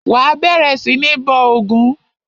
Wà á bẹ̀rẹ̀ sí ní bọ ògún!